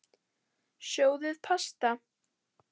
Sjóðið pasta.